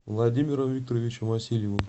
владимиром викторовичем васильевым